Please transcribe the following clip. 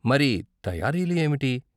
మరి తయారీలు ఏమిటి?